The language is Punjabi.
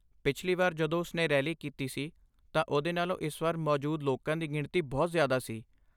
ਪਿਛਲੀ ਵਾਰ ਜਦੋਂ ਉਸ ਨੇ ਰੈਲੀ ਕੀਤੀ ਸੀ ਤਾਂ ਉਦੋਂ ਨਾਲੋਂ ਇਸ ਵਾਰ ਮੌਜੂਦ ਲੋਕਾਂ ਦੀ ਗਿਣਤੀ ਬਹੁਤ ਜ਼ਿਆਦਾ ਸੀ।